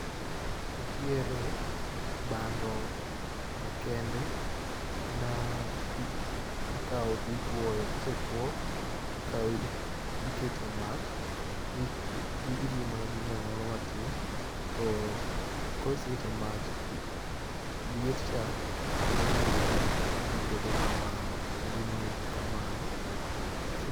Ntiere bando makende ma i ikao titwoyo, kosetwo ikawe ikete mach ii iriu mana gi moo moro matin, to kosekete mach, liet cha dhi miogi gibedo kamano koso gimuoch kamano. Kise.